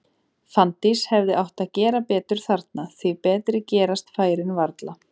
Fanndís hefði átt að gera betur þarna, því betri gerast færin varla.